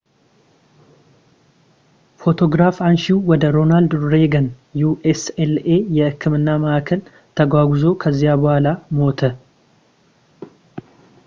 ፎቶግራፍ አንሺው ወደ ሮናልድ ሬገን ucla የሕክምና ማዕከል ተጓጉዞ ከዚያ በኋላ ሞተ